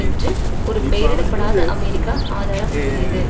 என்று ஒரு பெயரிடப்படாத அமெரிக்க ஆதாரம் கூறியது